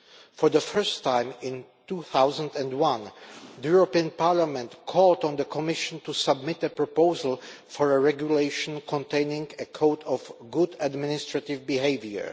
For the first time, in 2001, Parliament called on the Commission to submit a proposal for a regulation containing a code of good administrative behaviour.